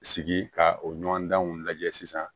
Sigi ka o ɲɔgɔndanw lajɛ sisan